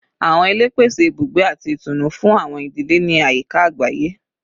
Awọn ile pese ibugbe ati itunu fun awọn idile ni ayika agbaye